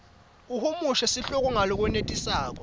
uhumushe sihloko ngalokwenetisako